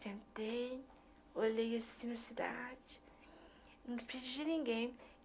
Sentei, olhei assim na cidade, não despedi de ninguém.